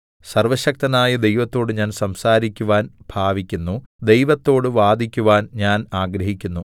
സർവ്വശക്തനായ ദൈവത്തോട് ഞാൻ സംസാരിക്കുവാൻ ഭാവിക്കുന്നു ദൈവത്തോട് വാദിക്കുവാൻ ഞാൻ ആഗ്രഹിക്കുന്നു